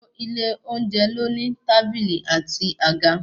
Gbogbo ilé oúnjẹ ló ní tábìlì àti àga.